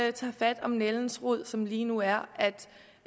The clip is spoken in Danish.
vi tager fat om nældens rod som lige nu er